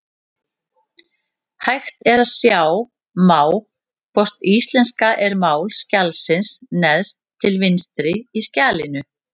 Hægt er að sjá má hvort íslenska er mál skjalsins neðst til vinstri í skjalinu.